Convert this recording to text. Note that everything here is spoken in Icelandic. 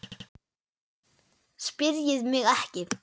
PÁLL: Spyrjið mig ekki.